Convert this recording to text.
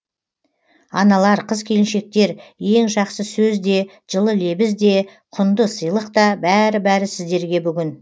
аналар қыз келіншектер ең жақсы сөз де жылы лебіз де құнды сыйлық та бәрі бәрі сіздерге бүгін